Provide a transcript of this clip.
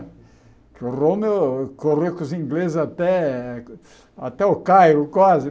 O Rommel corria com os ingleses até até o Cairo, quase.